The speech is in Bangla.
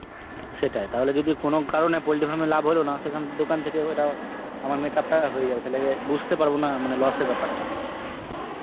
সেটাই তাহলে যদি কোনো কারণে poultry farm এ লাভ হলো না, সেখান~ দোকান থেকে ওইটা আমার make up টা হয়ে যাবে, তাহলে অ্যাঁ বুঝতে পারবো না মানে loss এর ব্যাপারটা.